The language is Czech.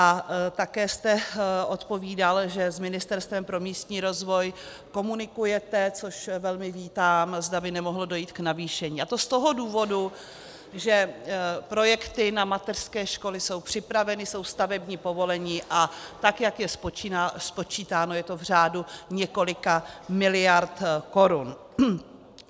A také jste odpovídal, že s Ministerstvem pro místní rozvoj komunikujete, což velmi vítám, zda by nemohlo dojít k navýšení, a to z toho důvodu, že projekty na mateřské školy jsou připraveny, jsou stavební povolení, a tak jak je spočítáno, je to v řádu několika miliard korun.